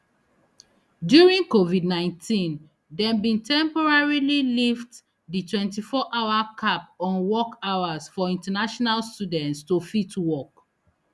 during covidnineteen dem bin temporarily lift di twenty hour cap on work hours for international students to fit work